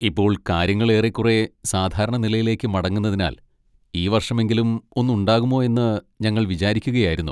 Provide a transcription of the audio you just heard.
ഇപ്പോൾ കാര്യങ്ങൾ ഏറേക്കുറെ സാധാരണ നിലയിലേക്ക് മടങ്ങുന്നതിനാൽ, ഈ വർഷമെങ്കിലും ഒന്ന് ഉണ്ടാകുമോ എന്ന് ഞങ്ങൾ വിചാരിക്കുകയായിരുന്നു.